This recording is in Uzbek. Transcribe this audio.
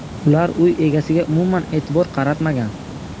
Ular uy egasiga umuman e’tibor qaratmagan.